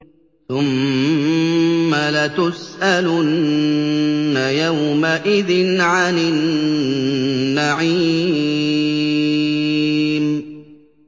ثُمَّ لَتُسْأَلُنَّ يَوْمَئِذٍ عَنِ النَّعِيمِ